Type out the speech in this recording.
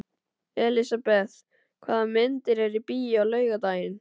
Elisabeth, hvaða myndir eru í bíó á laugardaginn?